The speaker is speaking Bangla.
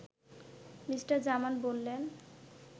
মি. জামান বললেন